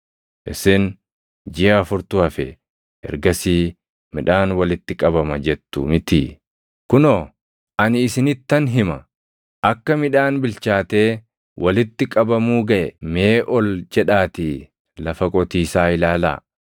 Isin, ‘Jiʼa afurtu hafe; ergasii midhaan walitti qabama’ jettu mitii? Kunoo, ani isinittan hima; akka midhaan bilchaatee walitti qabamuu gaʼe mee ol jedhaatii lafa qotiisaa ilaalaa!